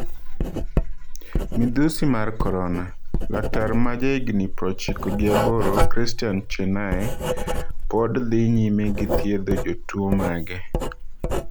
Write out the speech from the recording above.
Midhusi mar korona: Laktar ma jahigni prochiko gi aboro Christian Chenay pod dhi nyime gi thiedho jotuo mage